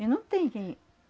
E não tem quem.